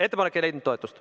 Ettepanek ei leidnud toetust.